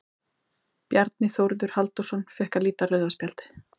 Bjarni Þórður Halldórsson fékk að líta rauða spjaldið.